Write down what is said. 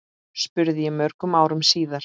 spurði ég mörgum árum síðar.